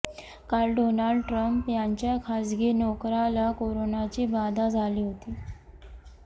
काल Donald Trump यांच्या खासगी नोकराला कोरोनाची बाधा झाली होती